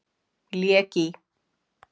Lék í